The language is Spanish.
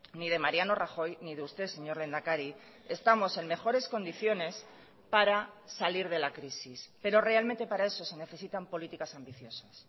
ni de mariano rajoy ni de usted señor lehendakari estamos en mejores condiciones para salir de la crisis pero realmente para eso se necesitan políticas ambiciosas